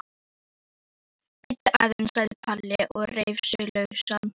Bíddu aðeins sagði Palli og reif sig lausan.